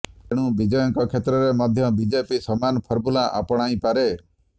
ତେଣୁ ବିଜୟଙ୍କ କ୍ଷେତ୍ରରେ ମଧ୍ୟ ବିଜେପି ସମାନ ଫର୍ମୁଲା ଆପଣାଇପାରେ